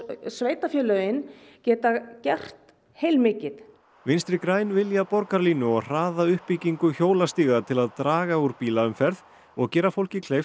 sveitarfélögin geta gert heilmikið vinstri græn vilja borgarlínu og hraða uppbyggingu hjólastíga til að draga úr bílaumferð og gera fólki kleift